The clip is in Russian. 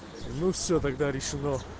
ну всё тогда решено